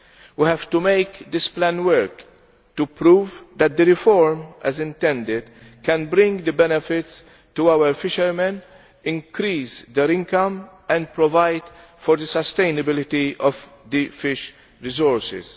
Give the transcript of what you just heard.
We have to make this plan work to prove that the reform, as intended, can bring benefits to our fishermen, increase their income and provide for the sustainability of the fish resources.